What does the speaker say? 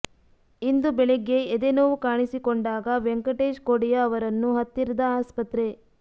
ಇಂದು ಬೆಳಗ್ಗೆ ಎದೆ ನೋವು ಕಾಣಿಸಿಕೊಂಡಾಗ ವೆಂಕಟೇಶ್ ಕೊಡಿಯಾ ಅವರನ್ನು ಹತ್ತಿರದ ಆಸ್ಪತ್ರೆ